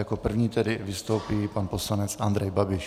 Jako první tedy vystoupí pan poslanec Andrej Babiš.